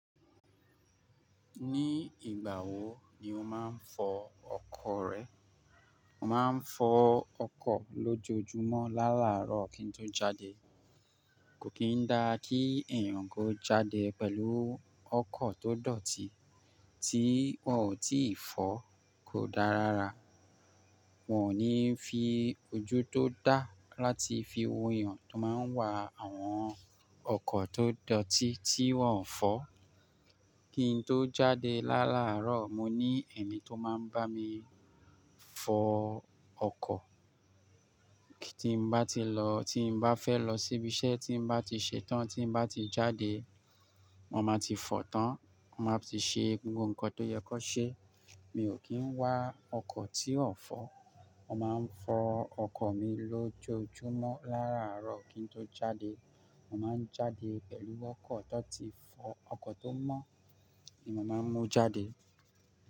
Ní ìgbà wo ni o máa ń fọ ọkọ̀ rẹ? Mo máa ń fọ ọkọ̀ lójoojúmọ́ láàrárọ̀ kí n tó jáde. Kò kín dá kí èèyàn kó jáde pẹ̀lú ọkọ̀ tó dọ̀tí tí wọ́n ò tíì fọ̀, kò dá rárá. Wọn ò ní fi ojú tó dá láti fi wo èèyàn tó máa ń wa àwọn ọkọ̀ tó dọ̀tí tí wọ́n ò fọ́. Kí n tó jáde látárọ̀, mo ní ẹ̀mi tó máa ń bá mi fọ ọkọ̀. Timba mbá ti lọ tímbá fẹ́ lọ síbi iṣẹ́ tím bá ti ṣetán, tí mbá ti jáde, mo máa ti fọ̀ tán, mo máa ti ṣe gbogbo nǹkan tó yẹ kó ṣe. Mi ò kí ń wá ọkọ̀ tí ò fọ́. Mo máa ń fọ ọkọ̀ mi lójoojúmọ́ láràárọ̀ kí n tó jáde. Mo máa ń jáde pẹ̀lú ọkọ̀ tó ti fọ̀. Ọkọ̀ tó mọ́ ni mo máa ń mú jáde.